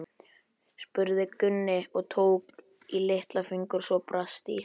spurði Gunni og tók í litla fingur svo brast í.